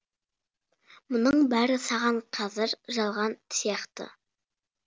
мұның бәрі саған қазір жалған сияқты